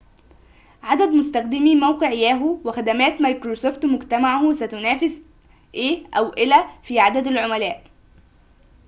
عدد مستخدمي موقع ياهو و خدمات مايكروسوفت مجتمعة ستنافس إيه أو إل في عدد العملاء